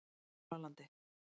Múlalandi